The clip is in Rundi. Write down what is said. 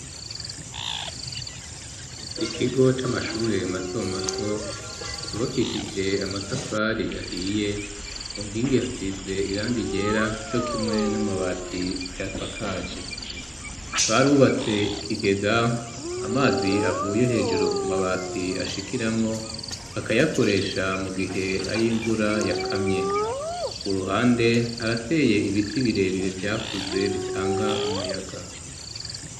Ikigo c'amashure mato mato cubakishije amatafari ahiye unkingi hasize iranga igera jo kimwe n'amabati aya swakaje barubatse ikigega amazi avuye hejuru ku mabati ashikiramwo bakayakoresha mu gihe ay'imvura yakamye uruhande harateye ibiti birebire vyakuze bitanga umuyaga.